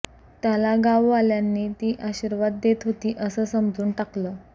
त्याला गाववाल्यांनी ती आशीर्वाद देत होती असं समजून टाकलं